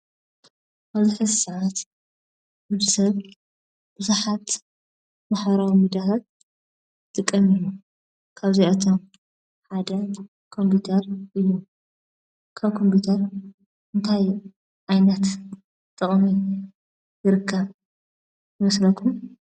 ኣብ ኣክሱም ዩኒቨርስቲ ዝርከብ ናይ ኮምፒተር ላብ እንትከውን እቲ ክፍሊ ብመስርዕ ኮምፒዩተራት ዴል ዝተመልአ ኮይኑ፣ ተማሃሮ ዘፅንዕሉን፣ ስልጠና ዝወስድሉ፣ ፈተና ዝፍተኑሉ ቦታ እዩ።